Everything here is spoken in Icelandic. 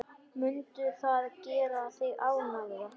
Mundi það gera þig ánægða?